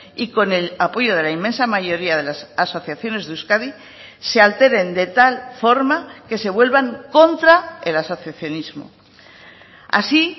y con el apoyo de la inmensa mayoría de las asociaciones de euskadi se alteren de tal forma que se vuelvan contra el asociacionismo así